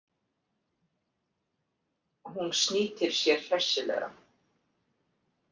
Hún snýtir sér hressilega.